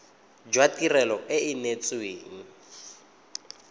jwa tirelo e e neetsweng